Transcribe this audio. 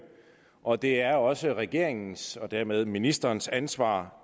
og det er også regeringens og dermed ministerens ansvar